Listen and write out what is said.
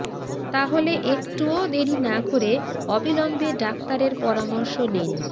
তাহলে একটুও দেরি না করে অবিলম্বে ডাক্তারের পরামর্শ নিন